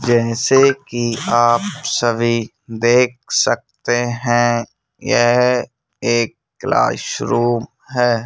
जैसे कि आप सभी देख सकते हैं यह एक क्लासरूम है।